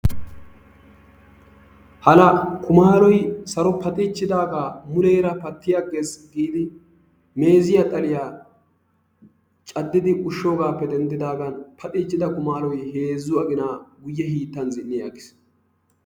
Hala! Kumalloy saro paxxichchidaaga, muleera patti agees giidi meeziya xalliya caddidi ushshoogappe denddidaagan paxxichchida kumalloy heezzu agina guyyee hiittan zin''i aggiis.